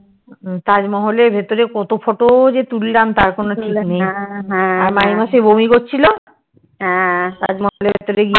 তাজ মহলের ভেতরে কত যে তুললাম আর মাইমা সেই বমি করছিলো তার মধ্যে